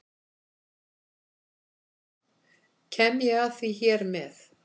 Kem ég að því hér með.